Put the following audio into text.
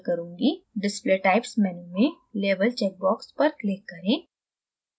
display types menu में label check box पर click करें